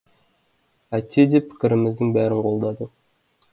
әйтсе де пікіріміздің бәрін қолдады